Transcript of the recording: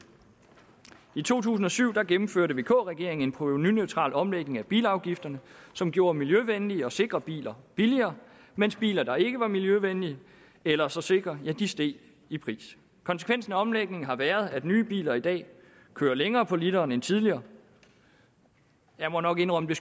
i to tusind og syv gennemførte vk regeringen en provenuneutral omlægning af bilafgifterne som gjorde miljøvenlige og sikre biler billigere mens biler der ikke var miljøvenlige eller så sikre steg i pris konsekvensen af omlægningen har været at nye biler i dag kører længere på literen end tidligere jeg må nok indrømme